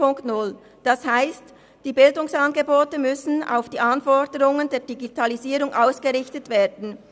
Das heisst, die Bildungsangebote müssen auf die Anforderungen der Digitalisierung ausgerichtet werden.